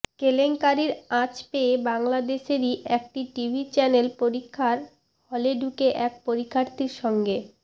কেলেঙ্কারির আঁচ পেয়ে বাংলাদেশেরই একটি টিভি চ্যানেল পরীক্ষার হলে ঢুকে এক পরীক্ষার্থীর সঙ্গে